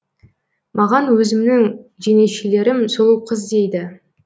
маған өзімнің жеңешелерім сұлуқыз дейді